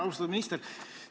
Austatud minister!